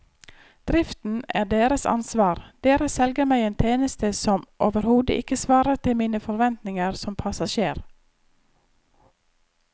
Driften er deres ansvar, dere selger meg en tjeneste som overhodet ikke svarer til mine forventninger som passasjer.